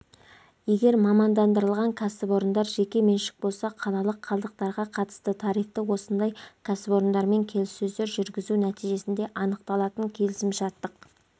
егер мамандандырылған кәсіпорындар жеке меншік болса қалалық қалдықтарға қатысты тарифті осындай кәсіпорындармен келіссөздер жүргізу нәтижесінде анықталатын келісімшарттық